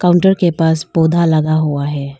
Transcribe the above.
Counter के पास पौधा लगा हुआ है।